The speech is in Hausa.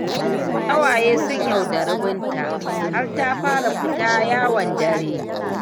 Ƙawaye sun yaudari Binta, har ta fara fita yawon dare.